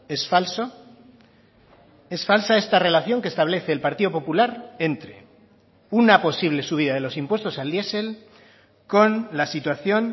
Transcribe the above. es falso es falsa esta relación que establece el partido popular entre una posible subida de los impuestos al diesel con la situación